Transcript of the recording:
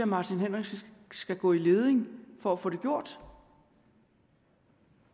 martin henriksen skal gå i leding for at få det gjort